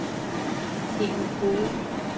Helen Hove